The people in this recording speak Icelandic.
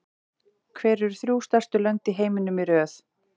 Hver eru þrjú stærstu lönd í heiminum í röð?